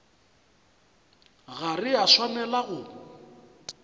ga re a swanela go